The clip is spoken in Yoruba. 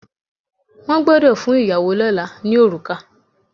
Wọ́n gbọ́dọ̀ fún ìyàwó lọ́là ní orùkà.